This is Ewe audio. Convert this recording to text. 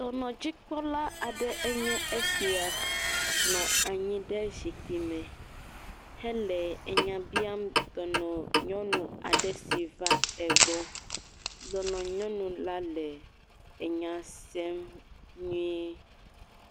Dɔnɔdzikpɔla aɖe nye esia nɔ anyi ɖe zikpuio me hele nya biam nyɔnu aɖe si va egbɔ. Dɔnɔ nyɔnu la le enya sem nyuie.